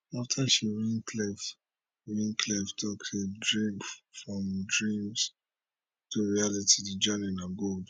afta she win khelif win khelif tok say from dreams to reality di journey na gold